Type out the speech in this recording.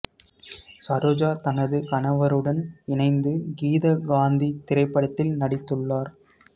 சரோஜா தனது கணவருடன் இணைந்து கீத காந்தி திரைப்படத்தில் நடித்துள்ளார்